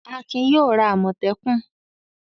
Akin yóò ra àmọ̀tẹ́kùn.